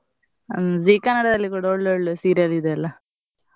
ಹ್ಮ್ Zee Kannada ದಲ್ಲಿ ಒಳ್ ಒಳ್ಳೆ serial ಇದೆಯಲ್ಲ.